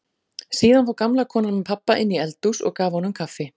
Síðan fór gamla konan með pabba inn í eldhús og gaf honum kaffi.